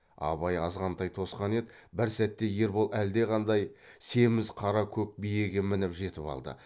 абай азғантай тосқан еді бір сәтте ербол әлдеқандай семіз қара көк биеге мініп жетіп алды